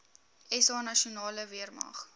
sa nasionale weermag